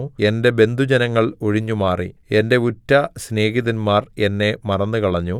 എന്റെ ബന്ധുജനങ്ങൾ ഒഴിഞ്ഞുമാറി എന്റെ ഉറ്റ സ്നേഹിതന്മാർ എന്നെ മറന്നുകളഞ്ഞു